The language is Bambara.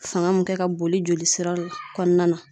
Fanga mun kɛ ka boli joli sira kɔnɔna na.